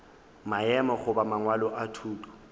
maemo goba mangwalo a thuto